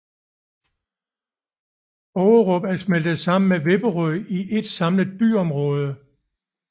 Ågerup er smeltet sammen med Vipperød til ét samlet byområde